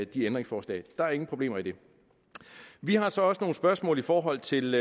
de ændringsforslag der er ingen problemer i det vi har så også nogle spørgsmål i forhold til